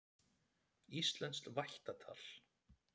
Íslenskt vættatal.